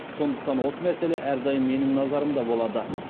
сондықтан осы мәселе әрдайым менің назарымда болады